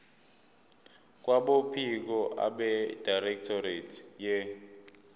kwabophiko abedirectorate ye